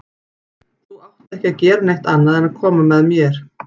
Þú átt ekki að gera neitt annað en að koma með mér.